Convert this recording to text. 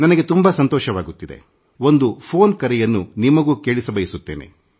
ನನಗೆ ತುಂಬಾ ಸಂತೋಷವಾಗುತ್ತಿದೆ ಮತ್ತು ನಾನು ಒಂದು ಫೋನ್ ಕರೆಯನ್ನು ನಿಮ್ಮೊಂದಿಗೆ ಹಂಚಿಕೊಳ್ಳ ಬಯಸುತ್ತೇನೆ